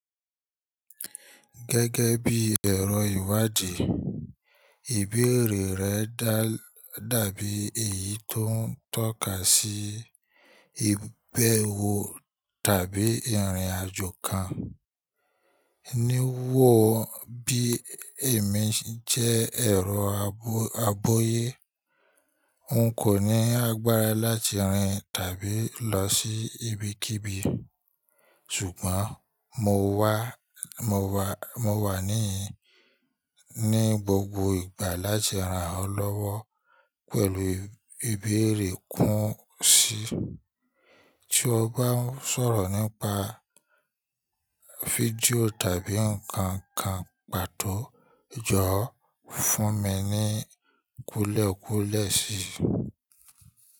Gẹ́gẹ́ bí ẹ̀rọ ìwádìí, ìbéèrè rẹ dàbí èyí tó ń tọ́ka sí ìbẹ̀wò tàbí ìrìnàjò kan. Níwò ó bí èmi jẹ́ ẹ̀rọ agbọ́yẹ́, n kò ní agbára láti rìn tàbí lọ sí ibikíbi, ṣùgbọ́n mo wà níyín ní gbogbo ìgbà láti ran ọ lọ́wọ́ pẹ̀lú ìbéèrè kún si. Tí o bá ń sọ̀rọ̀ nípa fídíò tàbí nǹkan kan pàtó, jọ̀wọ́ fún mi ní kúlẹ̀kúlẹ̀ si.